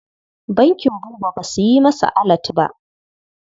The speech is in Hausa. Bankin Buba ba su yi masa alat ba.